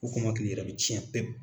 kɔmɔkili yɛrɛ bɛ cɛn pepu.